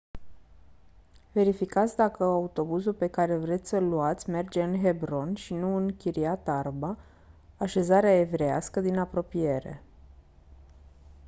verificați dacă autobuzul pe care vreți să-l luați merge în hebron și nu în kiryat arba așezarea evreiască din apropiere